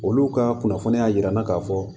Olu ka kunnafoniya jira n na ka fɔ